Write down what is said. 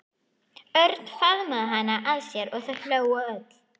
Örn faðmaði hana að sér og þau hlógu öll.